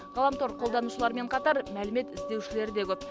ғаламтор қолданушылармен қатар мәлімет іздеушілер де көп